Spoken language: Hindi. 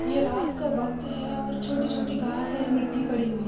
ये रात का वक्त है और छोटि छोटि घास है मिट्टी पड़ी हुई है।